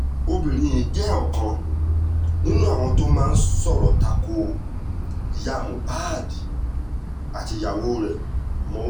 obìnrin yìí jẹ́ ọ̀kan nínú àwọn tó máa ń sọ̀rọ̀ ta ko ìyá mohbad àti ìyàwó rẹ̀ ọ̀mọ̀wámí